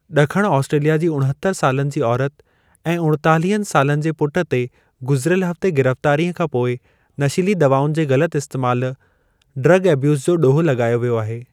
डखण Australia जी उणहत्तर सालनि जी औरत ऐं उणेतालिहनि सालनि जे पुट ते गुज़रियलु हफ़्ते गिरफ़्तारी खां पोइ नशीली दवाउनि जे ग़लत इस्तैमालु ड्रग एब्यूज़ जो ॾोहु लॻायो वियो आहे।